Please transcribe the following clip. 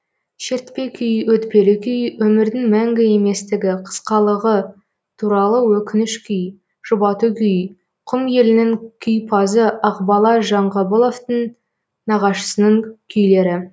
шертпе күй өтпелі күй өмірдің мәңгі еместігі қысқалығы туралы өкініш күй жұбату күй құм елінің күйпазы ақбала жанғабыловтың нағашысының күйлері